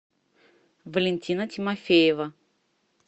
валентина тимофеева